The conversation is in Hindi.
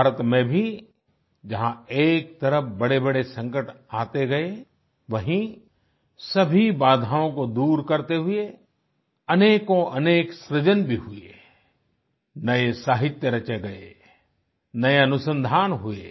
भारत में भी जहां एक तरफ़ बड़ेबड़े संकट आते गए वहीँ सभी बाधाओं को दूर करते हुए अनेकोंअनेक सृजन भी हुए आई नए साहित्य रचे गए नए अनुसंधान हुए